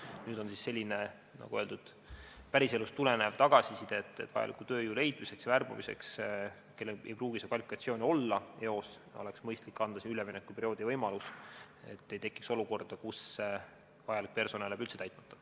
Nüüd on selline, nagu öeldud, päriselust tulenev tagasiside, et vajaliku tööjõu leidmiseks ja värbamiseks, kuna seda kvalifikatsiooni ei pruugi neil inimestel eos olla, oleks mõistlik anda üleminekuperioodi võimalus, et ei tekiks olukorda, kus vajalik personal jääb üldse leidmata.